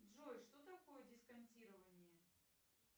джой что такое дисконтирование